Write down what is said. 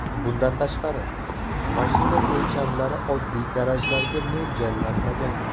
Bundan tashqari, mashina o‘lchamlari oddiy garajlarga mo‘ljallanmagan.